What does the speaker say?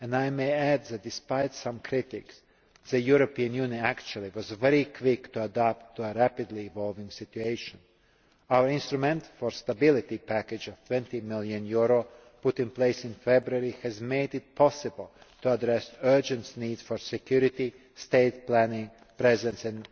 And I may add that, despite some critics, the European Union was actually very quick to adapt to a rapidly evolving situation. Our Instrument for Stability package of EUR 20 million, put in place in February, has made it possible to address urgent needs for security, state planning, presence